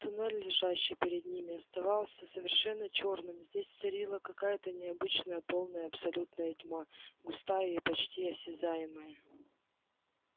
туннель лежащий перед ними оставался совершенно чёрным здесь царила какая-то необычная полная абсолютная тьма густая и почти осязаемая